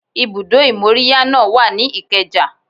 Ibùdó ìmóríyá náà wà ní Ikeja